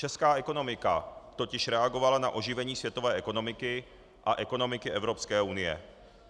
Česká ekonomika totiž reagovala na oživení světové ekonomiky a ekonomiky Evropské unie.